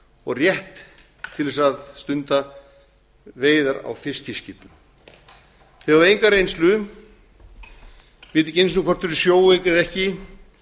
og rétt til þess að stunda veiðar á fiskiskipum þau hafa enga reynslu vita ekki einu sinni hvort þau eru sjóveik eða ekki